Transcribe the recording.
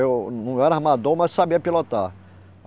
Eu não era armador, mas sabia pilotar.